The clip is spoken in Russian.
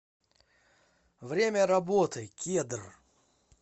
время работы кедр